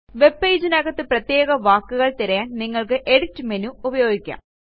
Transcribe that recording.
webpageനകത്തെ പ്രത്യേക വാക്കുകൾ തിരയാൻ നിങ്ങൾക്ക് എഡിറ്റ് മേനു ഉപയോഗിക്കാം